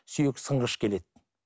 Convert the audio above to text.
сүйек сынғыш келеді